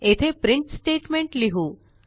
येथे print statement लिहू